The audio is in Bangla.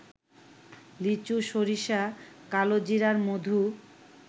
লিচু, সরিষা, কালোজিরার মধু